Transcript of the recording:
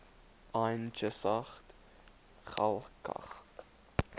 yn cheshaght ghailckagh